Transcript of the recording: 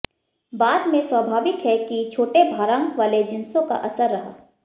बाद में स्वाभाविक है कि छोटे भारांक वाले जिंसों का असर रहा